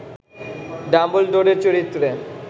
ডাম্বলডোরের চরিত্রে